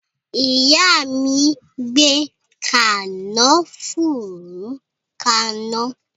Ìyá mi ń gbe kànáfùrú kana